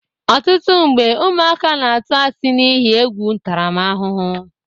Ọtụtụ mgbe, ụmụaka na-atụ asị n'ihe egwu ntaramahụhụ